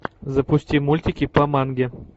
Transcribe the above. запусти мультики по манге